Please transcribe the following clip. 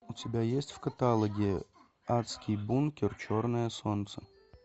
у тебя есть в каталоге адский бункер черное солнце